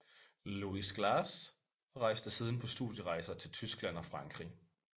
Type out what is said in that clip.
Louis Glass og rejste siden på studierejser til Tyskland og Frankrig